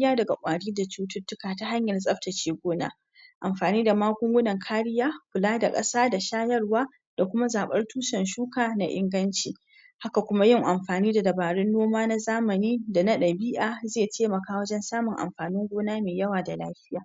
yadda ake adana abinci da albarkatunsu dabbobi domin tabbatar da cewa suna cikin inganci da kuma gujewa ga duk wani hatsari.